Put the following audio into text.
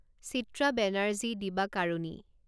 Chitra Banerjee Divakaruni